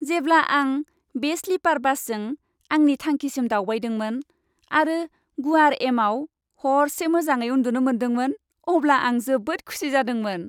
जेब्ला आं बे स्लिपार बासजों आंनि थांखिसिम दावबायदोंमोन आरो गुवार एमाव हरसे मोजाङै उन्दुनो मोनदोंमोन, अब्ला आं जोबोद खुसि जादोंमोन।